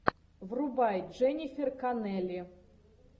врубай дженнифер коннелли